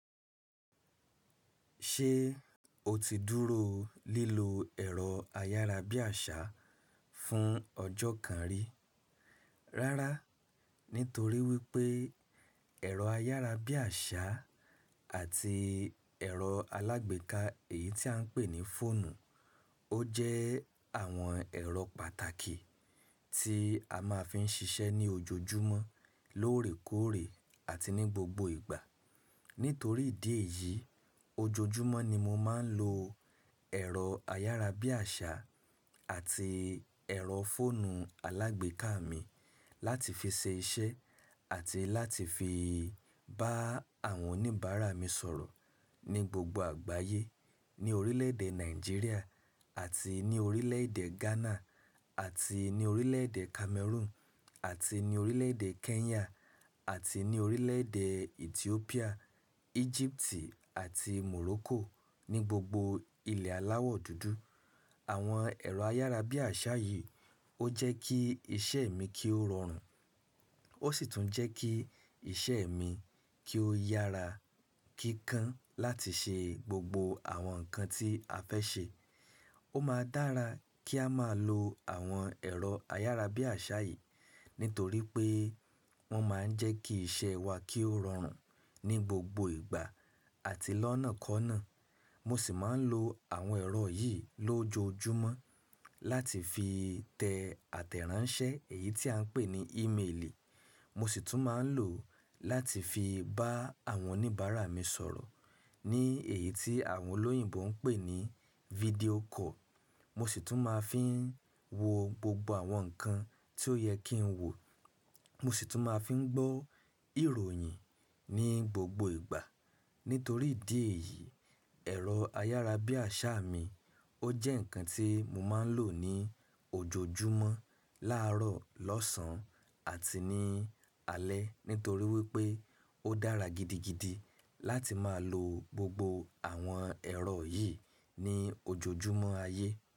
Ṣé o ti dúró lílo ẹ̀rọ ayárabíàṣá fún ọjọ́ kan rí? Rárá, nítorí wípé ẹ̀rọ ayárabíàṣá àti ẹ̀rọ alágbèéká, èyí tí à ń pè ní fóònù, ó jẹ́ àwọn ẹ̀rọ pàtàkì tí a máa ń fi ń ṣiṣẹ́ ní ojoojúmọ́, lóòrèkóòrè àti ní gbogbo ìgbà. Nítorí ìdí èyí, ojoojúmọ́ ni mo máa ń lo ẹ̀rọ ayárabíàṣá àti ẹ̀rọ fóònù alágbèéká mi láti fi ṣe iṣẹ́ àti láti fi bá àwọn oníbàárà mi sọ̀rọ̀ ní gbogbo àgbáyé; ní orílẹ̀-èdè Nàìjíríà àti ní orílẹ̀-èdè Ghana àti ní orílẹ̀-èdè Cameroon àti ní orílẹ̀-èdè Kenya àti ní orílẹ̀-èdè Ethiopia, Egypt àti Morocco ní gbogbo ilẹ̀ aláwọ̀ dúdú. Àwọn ẹ̀rọ ayárabíàṣá yìí ó jẹ́ kí iṣẹ́ mi kí ó rọrùn, ó sì tún jẹ́ kí iṣẹ́ mi kí ó yára kíkan láti ṣe gbogbo àwọn nǹkan tí a fẹ́ ṣe. Ó máa dára kí a máa lo àwọn ẹ̀rọ ayárabíàṣá yìí, nítorí pé wọ́n máa ń jẹ́ kí iṣẹ́ wa kí ó rọrùn ní gbogbo ìgbà àti lọ́nàkọ́ọ̀nà. Mo sì máa ń lo àwọn ẹ̀rọ yìí lójoojúmọ́ láti fi tẹ àtẹ̀ránsẹ́, èyí tí à ń pè ní ímeelì. Mo sì tún máa ń lò ó láti fi bá àwọn oníbàárà mi sọ̀rọ̀ ní èyí tí àwọn olóyìnbo ń pè ní fídíò call. Mo sì tún máa ń fi wo gbogbo àwọn nǹkan tí ó yẹ kí ń wò. Mo sì tún máa ń fi gbọ́ ìròyìn ní gbogbo ìgbà. Nítorí ìdí èyí, ẹ̀rọ ayárabíàṣá mi ó jẹ́ nǹkan tí mo máa ń lò ní ojoojúmọ́, láàárọ̀, lọ́sàn-án àti ní alẹ́. Nítorí wípé ó dára gidigidi láti máa lo gbogbo àwọn ẹ̀rọ yìí ní ojoojúmọ́ ayé.